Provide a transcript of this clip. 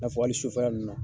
I n'a fɔ hali sufɛla ninnu na.